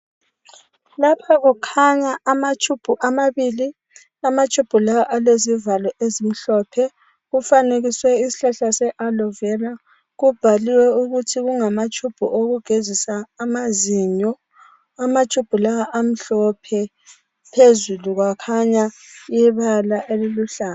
Lapha kukhanya amatshubhu amabili. amatshubhu lawa alezivalo ezimhlophe. Kufanekiswe isihlahla esihlala se aloe vera. kubhaliwe ukuthi kungamatshubhu wokugezisa amazinyo. Amatshubhu lawa omhlophe phezulu kwakhanya umbala oluhlaza.